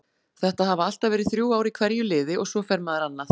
Þetta hafa alltaf verið þrjú ár í hverju liði og svo fer maður annað.